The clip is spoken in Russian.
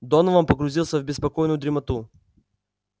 донован погрузился в беспокойную дремоту